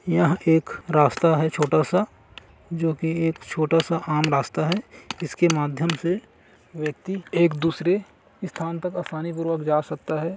यह एक रास्ता है छोटा सा जो की एक छोटा सा आम रास्ता है जिसके माध्यम से व्यक्ति एक दूसरे स्थान तक आसानी पूर्वक जा सकता है।